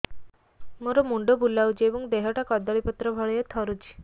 ମୋର ମୁଣ୍ଡ ବୁଲାଉଛି ଏବଂ ଦେହଟା କଦଳୀପତ୍ର ଭଳିଆ ଥରୁଛି